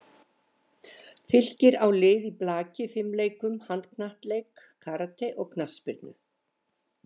Fylkir á lið í blaki, fimleikum, handknattleik, karate og knattspyrnu.